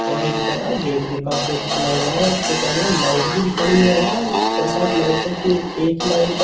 और इसका गेट भी काफी अच्छा लग रहा है और इसके पास यार लाइट भी खड़ी है यार छह सात लाइटो की एक एक ही लाइट है।